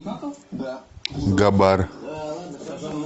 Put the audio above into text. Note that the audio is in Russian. габар